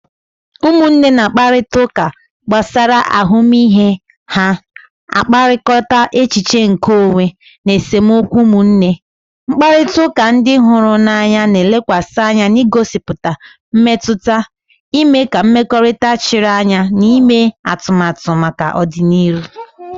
Ụmụnne na-akparịta ụka gbasara ahụmịhe ha na-akpakọrịta, echiche nke onwe, na esemokwu ụmụnne. Mkparịta ụka ndị hụrụ n'anya na-elekwasị anya n'igosipụta mmetụta, ime ka mmekọrịta chiri anya na ime atụmatụ maka ọdịnihu